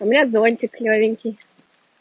у меня зонтик новенький